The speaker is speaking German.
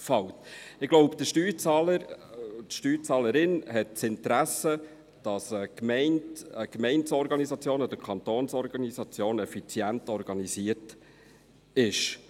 Ich glaube, der Steuerzahler oder die Steuerzahlerin hat das Interesse, dass eine Gemeinde- oder Kantonsorganisation effizient organisiert ist.